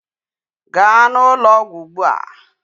Gaa n'ụlọọgwụ ugbu a!